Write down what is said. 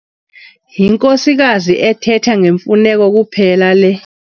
Yinkosikazi ethetha ngemfuneko kuphela le.